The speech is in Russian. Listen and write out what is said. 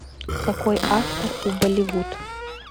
какой автор у болливуд